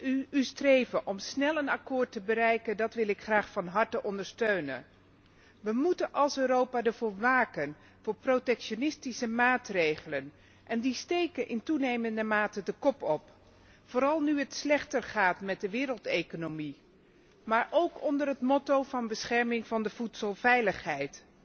Uw streven om snel een akkoord te bereiken wil ik immers graag van harte ondersteunen. Wij moeten als Europa waken voor protectionistische maatregelen, die in toenemende mate de kop opsteken, vooral nu het slechter gaat met de wereldeconomie, maar ook onder het motto van bescherming van de voedselveiligheid.